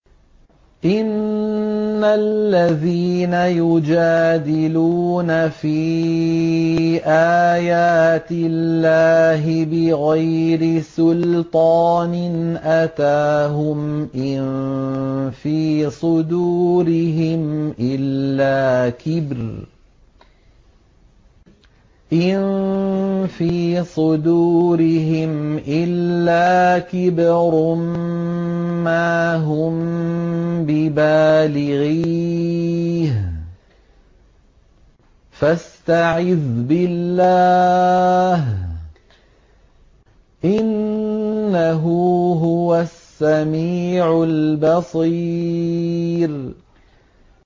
إِنَّ الَّذِينَ يُجَادِلُونَ فِي آيَاتِ اللَّهِ بِغَيْرِ سُلْطَانٍ أَتَاهُمْ ۙ إِن فِي صُدُورِهِمْ إِلَّا كِبْرٌ مَّا هُم بِبَالِغِيهِ ۚ فَاسْتَعِذْ بِاللَّهِ ۖ إِنَّهُ هُوَ السَّمِيعُ الْبَصِيرُ